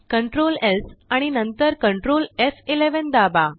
Ctrl S आणि नंतर Ctrl एफ11 दाबा